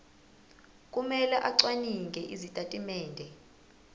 kumele acwaninge izitatimende